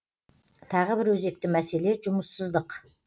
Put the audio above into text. тағы бір өзекті мәселе жұмыссыздық